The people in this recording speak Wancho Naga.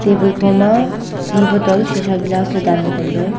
table khoma ti bottle shisha glass ley dan lahley tailey.